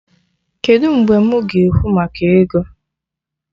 Kedụ mgbe mụ ga-ekwu maka ego?